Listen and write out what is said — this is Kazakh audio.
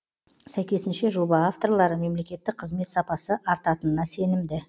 сәйкесінше жоба авторлары мемлекеттік қызмет сапасы артатынына сенімді